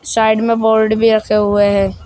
Side में board भी रखे हुए हैं।